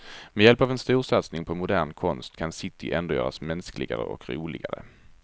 Med hjälp av en storsatsning på modern konst kan city ändå göras mänskligare och roligare.